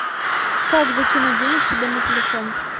как закинуть денег себе на телефон